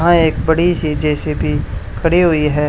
हां एक बड़ी सी जे_सी_बी खड़ी हुई है।